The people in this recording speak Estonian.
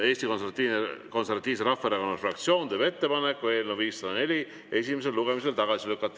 Eesti Konservatiivse Rahvaerakonna fraktsioon teeb ettepaneku eelnõu 504 esimesel lugemisel tagasi lükata.